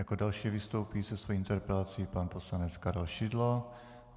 Jako další vystoupí se svou interpelací pan poslanec Karel Šidlo.